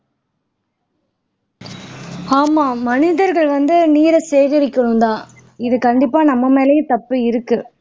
ஆமா மனிதர்கள் வந்து நீரை சேகரிக்கனும் தான் இது கண்டிப்பா நம்ம மேலயும் தப்பு இருக்கு